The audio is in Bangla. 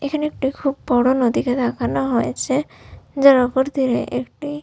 এখানে একটি খুব বড় নদীকে দেখানো হয়েছে যার ওপর দিকে একটি।